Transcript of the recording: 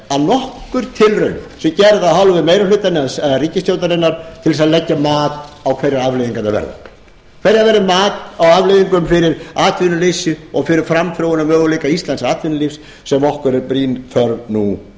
nokkur tilraun sé gerð af hálfu meiri hlutans eða ríkisstjórnarinnar til þess að leggja mat á hverjar afleiðingarnar hvert verður mat á afleiðingum fyrir atvinnuleysið og fyrir framþróunarmöguleika íslensks atvinnulífs sem okkur er brýn þörf nú